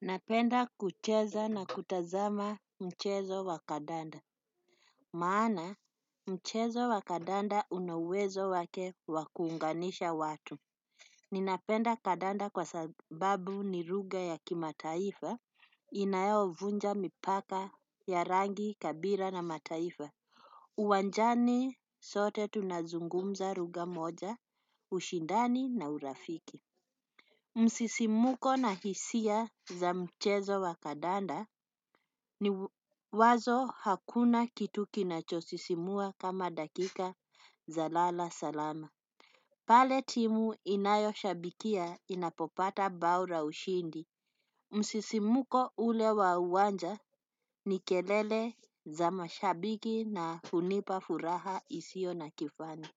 Napenda kucheza na kutazama mchezo wa kadanda. Maana mchezo wa kadanda unauwezo wake wa kuunganisha watu. Ninapenda kadanda kwa sababu ni lugha ya kimataifa inayovunja mipaka ya rangi kabila na mataifa. Uwanjani sote tunazungumza lugha moja ushindani na urafiki. Msisimuko na hisia za mchezo wa kadanda ni wazo hakuna kitu kinachosisimua kama dakika za lala salama. Pale timu inayoshabikia inapopata bao la ushindi. Msisimuko ule wa uwanja ni kelele za mashabiki na hunipa furaha isio na kifani.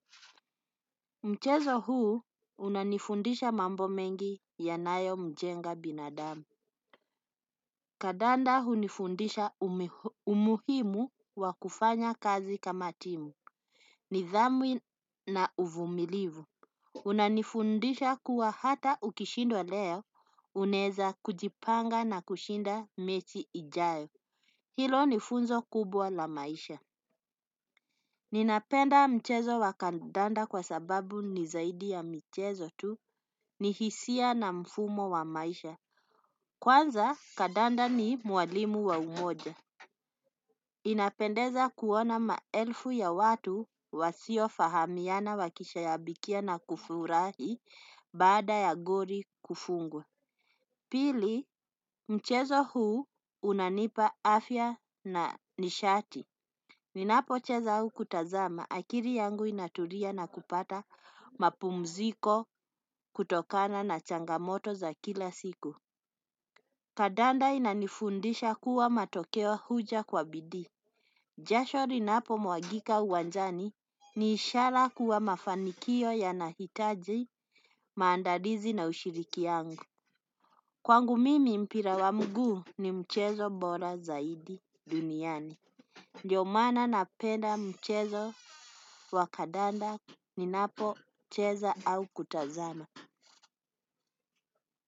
Mchezo huu unanifundisha mambo mengi yanayo mjenga binadamu. Kadanda hunifundisha umuhimu wa kufanya kazi kama timu. Nidhamu na uvumilivu. Unanifundisha kuwa hata ukishindwa leo unaeza kujipanga na kushinda mechi ijayo. Hilo nifunzo kubwa la maisha. Ninapenda mchezo wa kadanda kwa sababu nizaidi ya michezo tu ni hisia na mfumo wa maisha. Kwanza kadanda ni mwalimu wa umoja. Inapendeza kuona maelfu ya watu wasio fahamiana wakishabikia na kufurahi baada ya goli kufungwa. Pili mchezo huu unanipa afya na nishati. Ninapocheza au kutazama akili yangu inatulia na kupata mapumziko kutokana na changamoto za kila siku. Kadanda inanifundisha kuwa matokeo huja kwa bidii. Jasho linapo mwagika uwanjani ni ishara kuwa mafanikio yanahitaji maandalizi na ushiriki yangu. Kwangu mimi mpira wa mguu ni mchezo bora zaidi duniani. Ndio maana napenda mchezo wa kadanda ninapocheza au kutazama.